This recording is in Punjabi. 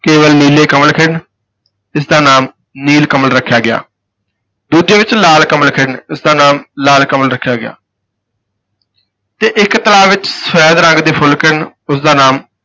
ਕੇਵਲ ਨੀਲੇ ਕੰਵਲ ਖਿੜਨ, ਇਸ ਦਾ ਨਾਮ ਨੀਲ-ਕਮਲ ਰੱਖਿਆ ਗਿਆ, ਦੂਜੇ ਵਿਚ ਲਾਲ ਕੰਵਲ ਖਿੜਨ, ਇਸ ਦਾ ਨਾਮ ਲਾਲ-ਕਮਲ ਰੱਖਿਆ ਗਿਆ ਅਤੇ ਇਕ ਤਲਾਬ ਵਿਚ ਸਫੈਦ ਰੰਗ ਦੇ ਫੁੱਲ ਖਿੜਨ, ਉਸ ਦਾ ਨਾਮ